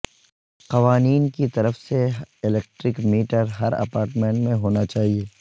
قوانین کی طرف سے الیکٹرک میٹر ہر اپارٹمنٹ میں ہونا چاہئے